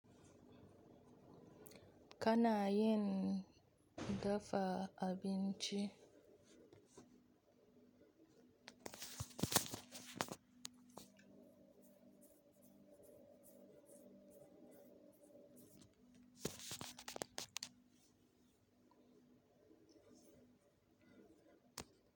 Kana yin dafa abinci?